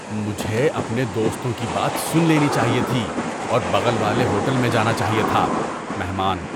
مجھے اپنے دوستوں کی بات سن لینی چاہیے تھی اور بغل والے ہوٹل میں جانا چاہیے تھا۔ (مہمان)